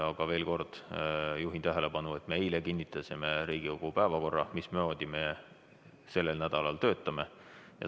Aga veel kord juhin tähelepanu, et eile me kinnitasime Riigikogu päevakorra, mismoodi me sellel nädalal töötame.